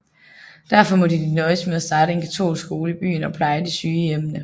Derfor måtte de nøjes med at starte en katolsk skole i byen og pleje de syge i hjemmene